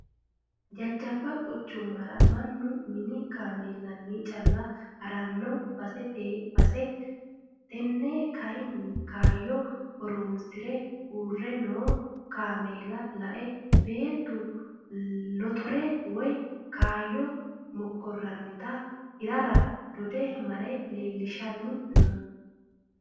Jajjabba quchumara mannu mini kaameelinni calla harano basete base tene kayinni kayyo horonsire uurre no kaameela lae beettu lotorete woyi kaayya mokkoranitta hirara dode mare leeelishiranni no.